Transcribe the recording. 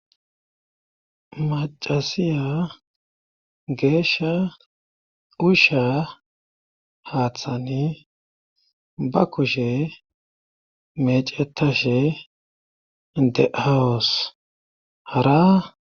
macasiya geeshsha usha haaththani ba kushe mecetashe dehawus hara